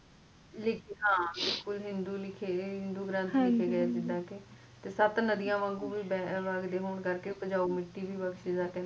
ਹਾ ਬਿਲਕੁਲ ਹਿੰਦੂ ਲਿਖ ਗਏ ਹਿੰਦੂ ਗਰੰਥ ਲਿਖ ਗਏ ਜਿਦਾ ਕੇ ਨਾਲੇ ਸਤਿ ਨਦੀਆ ਵਾਂਗੂ ਪੰਜਾਬ ਦੀ ਮਿੱਟੀ ਵਾਰਤੀ ਤੇ